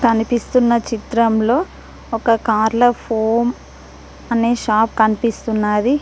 కనిపిస్తున్న చిత్రంలో ఒక కార్ల ఫోమ్ అనే షాప్ కనిపిస్తున్నాది.